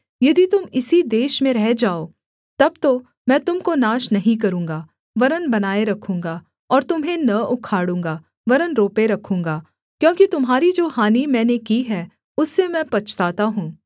यदि तुम इसी देश में रह जाओ तब तो मैं तुम को नाश नहीं करूँगा वरन् बनाए रखूँगा और तुम्हें न उखाड़ूँगा वरन् रोपे रखूँगा क्योंकि तुम्हारी जो हानि मैंने की है उससे मैं पछताता हूँ